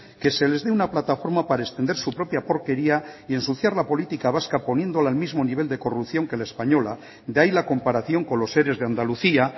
que se les dé una plataforma para extender su propia porquería y ensuciar la política vasca poniéndola al mismo nivel de corrupción que la española de ahí la comparación con los ere de andalucía